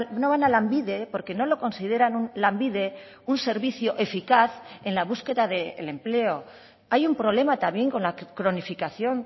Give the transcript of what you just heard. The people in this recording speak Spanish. no van a lanbide porque no lo consideran lanbide un servicio eficaz en la búsqueda del empleo hay un problema también con la cronificación